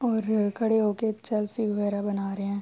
اور کھڈے ہوکر سلفی وگیرہ بنا رہے ہے۔